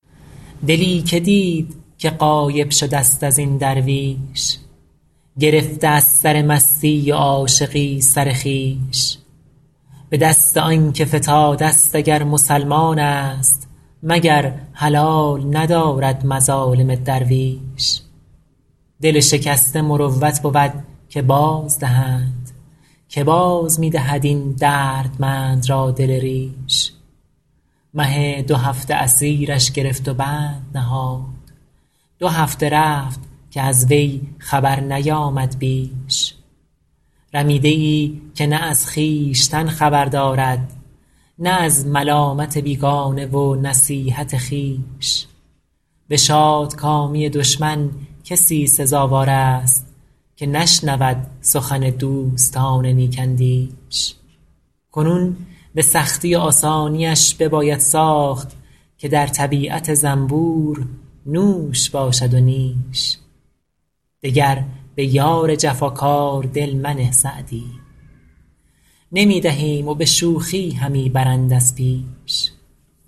دلی که دید که غایب شده ست از این درویش گرفته از سر مستی و عاشقی سر خویش به دست آن که فتاده ست اگر مسلمان است مگر حلال ندارد مظالم درویش دل شکسته مروت بود که بازدهند که باز می دهد این دردمند را دل ریش مه دوهفته اسیرش گرفت و بند نهاد دو هفته رفت که از وی خبر نیامد بیش رمیده ای که نه از خویشتن خبر دارد نه از ملامت بیگانه و نصیحت خویش به شادکامی دشمن کسی سزاوار است که نشنود سخن دوستان نیک اندیش کنون به سختی و آسانیش بباید ساخت که در طبیعت زنبور نوش باشد و نیش دگر به یار جفاکار دل منه سعدی نمی دهیم و به شوخی همی برند از پیش